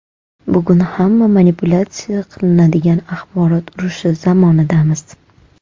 Bugun hamma manipulyatsiya qilinadigan axborot urushi zamonidamiz.